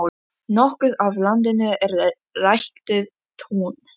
Nokkuð af landinu er ræktað tún.